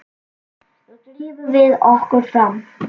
Nú drífum við okkur fram!